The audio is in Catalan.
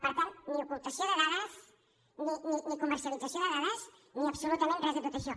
per tant ni ocultació de dades ni comercialització de dades ni absolutament res de tot això